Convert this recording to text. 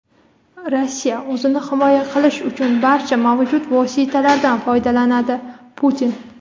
Rossiya o‘zini himoya qilish uchun barcha mavjud vositalardan foydalanadi – Putin.